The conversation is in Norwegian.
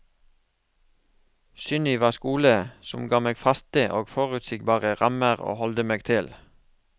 Sunniva skole, som ga meg faste og forutsigbare rammer å holde meg til.